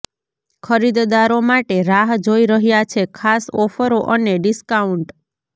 ખરીદદારો માટે રાહ જોઈ રહ્યા છે ખાસ ઓફરો અને ડિસ્કાઉન્ટ